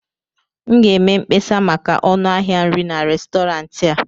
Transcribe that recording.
m ga-eme mkpesa maka ọnụ ahịa nri na Restọrantị a